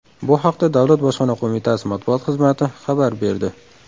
Bu haqda Davlat bojxona qo‘mitasi matbuot xizmati xabar berdi .